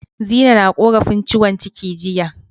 Zinai na korafin ciwon ciki jiya.